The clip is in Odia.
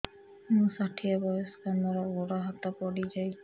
ମୁଁ ଷାଠିଏ ବୟସ୍କା ମୋର ଗୋଡ ହାତ ପଡିଯାଇଛି